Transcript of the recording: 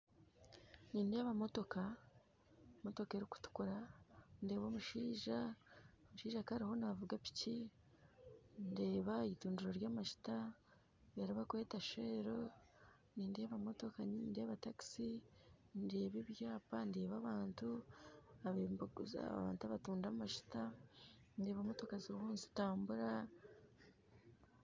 Nindeeba motoka motoka erukutukura ndeeba omushaija omushaija akaba aroho navuga piki ndeeba itundiro ry'amajuta eribakweta shell nindeeba motoka nyingi nindeeba taxi ndeeba ebyapa ndeeba abantu ababaire nibaguza abantu abatunda amajuta ndeeba motoka ziriho nizitambura